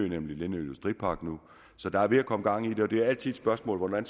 nemlig i lindø industripark så der er ved at komme gang i det det er altid et spørgsmål hvordan